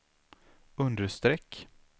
understreck